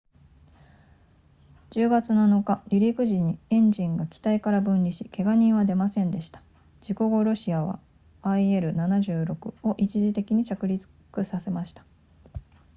10月7日離陸時にエンジンが機体から分離しけが人は出ませんでした事故後ロシアは il-76 を一時的に着陸させました